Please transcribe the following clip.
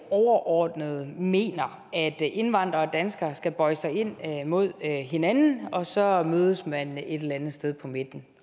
overordnet mener at indvandrere og danskere skal bøje sig ind mod hinanden og så mødes man et eller andet sted på midten